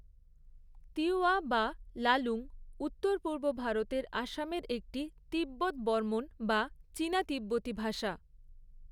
তিওয়া বা লালুং উত্তর পূর্ব ভারতের আসামের একটি তিব্বত বর্মণ, বা চীনা তিব্বতি ভাষা।